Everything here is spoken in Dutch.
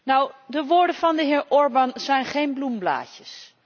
Nou, de woorden van de heer Orbán zijn geen bloemblaadjes.